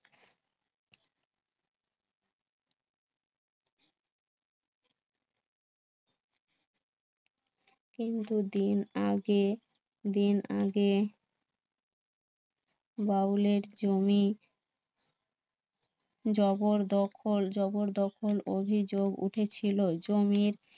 কিন্তু দুদিন আগে দিন আগে বাউলের জমি জবরদখল, জবরদখল অভিযোগ উঠেছিল জমির